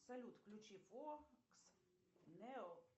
салют включи фокс нео